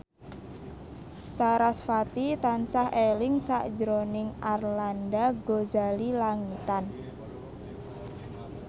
sarasvati tansah eling sakjroning Arlanda Ghazali Langitan